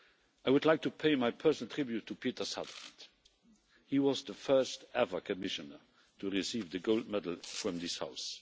I would like to pay my personal tribute to Peter Sutherland. He was the first ever Commissioner to receive the gold medal from this House.